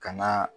Ka na